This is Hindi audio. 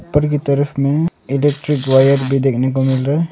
ऊपर की तरफ में इलेक्ट्रिक वायर भी देखने को मिल रहा है।